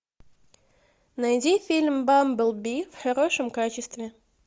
найди фильм бамблби в хорошем качестве